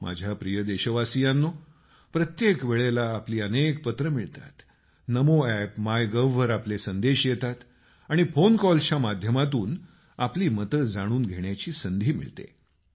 माझ्या प्रिय देशवासियांनो प्रत्येक वेळेला आपली अनेक पत्रं मिळतात नमो एप आणि मायगव्ह वर आपले संदेश येतात आणि फोन कॉल्सच्या माध्यमातून आपली मतं जाणून घेण्याची संधी मिळते